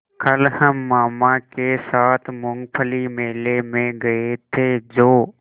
कल हम मामा के साथ मूँगफली मेले में गए थे जो